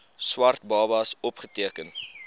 swart babas opgeteken